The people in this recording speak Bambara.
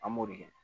An b'o de kɛ